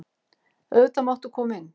Auðvitað máttu koma inn.